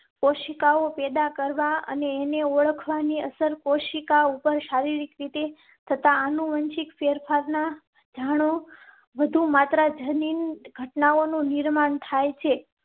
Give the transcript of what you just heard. કોશિકાઓ પૈડા કરવા અને તેને ઓળખવા ની અસર કોશિકા ઉપર શારીરિક રીતે થતા આનુવંશિક ફેરફાર ના. જાણો વધુ માત્ર જનીન ઘટનાઓ નું નિર્માણ થાય છે